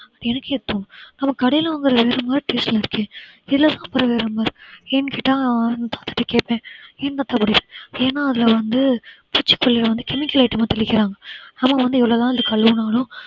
எனக்கே அப்போ நம்ம கடையில வாங்கறது வேற மாதிரி ல இ taste அ இருக்கே இதுல தான் அப்புறம் வேற மாதிரி ஏன் கேட்டா தாத்தாகிட்ட கேட்பேன் ஏன் தாத்தா இப்படி ஏன்னா அதுல வந்து பூச்சிக்கொல்லிய வந்து chemical item தெளிக்கிறாங்க நம்ம வந்து எவ்வளவு தான் இத கழுவினாலும்